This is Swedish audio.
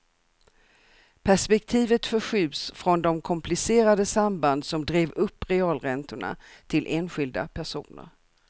Perspektivet förskjuts från de komplicerade samband som drev upp realräntorna till enskilda personer.